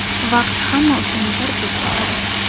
Vaqt hamma uchun birdek o‘tadi.